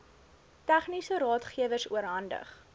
tegniese raadgewers oorhandig